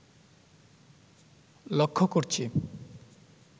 লক্ষ করছি